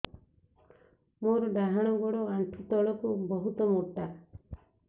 ମୋର ଡାହାଣ ଗୋଡ ଆଣ୍ଠୁ ତଳୁକୁ ବହୁତ ମୋଟା